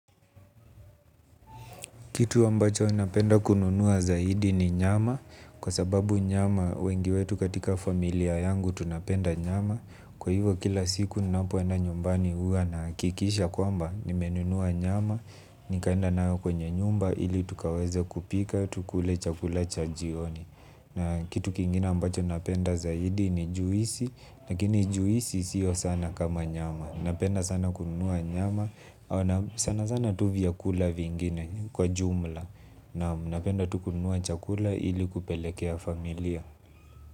Kitu ambacho napenda kununua zaidi ni nyama, kwa sababu nyama wengi wetu katika familia yangu tunapenda nyama, kwa hivyo kila siku ninapo enda nyumbani huwa nakikisha kwamba, nimenunua nyama, nikaenda nao kwenye nyumba, ili tukaweze kupika, tukule chakula cha jioni. Na kitu kingine ambacho napenda zaidi ni juisi, lakini juisi siyo sana kama nyama. Napenda sana kununua nyama au sana sana tu vyakula vingine kwa jumla naam napenda tu kununua chakula ili kupelekea familia.